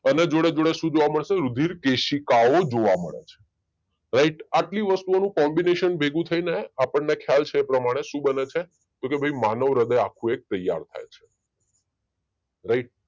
એની જોડે જોડે શું જોવા મળશે રુધિર કેશિકાઓ જોવા મળશે રાઈટ એટલી વસ્તુઓનો કોમ્બીનેશન ભેગું થઈને આપણને ખયાલ છે એ પ્રમાણે શું બને છે તો કે ભાઈ માનવ હ્ર્ય્દય એક આખું તૈયાર થાય છે રાઈટ